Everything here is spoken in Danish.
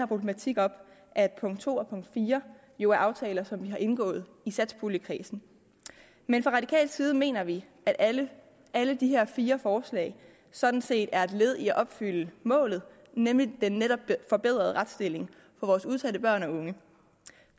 problematik op at punkt to og punkt fire jo er aftaler som vi har indgået i satspuljekredsen men fra radikal side mener vi at alle alle de her fire forslag sådan set er et led i at opfylde målet nemlig den netop forbedrede retsstilling for vores udsatte børn og unge